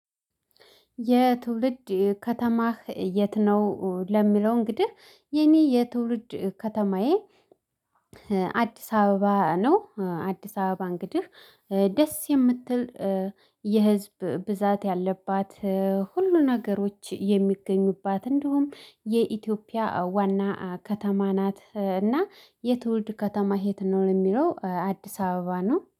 የትውልድ ከተማህ የት ነው? ለሚለው እንግዲህ የኔ የትውልድ ከተማዬ አዲስ አበባ ነው። አዲስ አበባ እንግዲህ ደስ የምትል የህዝብ ብዛት ያለባት ሁሉ ነገሮች የሚገኙባት እንዲሁም የኢትዮጵያ ዋና ከተማ ናት። እና የትውልድ ከተማህ የት ነው? ለሚለው አዲስ አበባ ነው